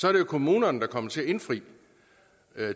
er det jo kommunerne der kommer til at indfri